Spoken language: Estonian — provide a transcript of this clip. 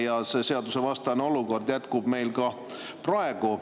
Ja see seadusvastane olukord jätkub ka praegu.